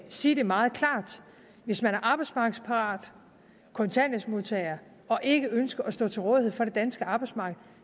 sige meget klart hvis man er arbejdsmarkedsparat kontanthjælpsmodtager og ikke ønsker at stå til rådighed for det danske arbejdsmarked